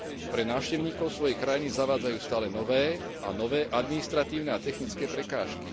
Pre návštevníkov svojej krajiny zavádzajú stále nové a nové administratívne a technické prekážky.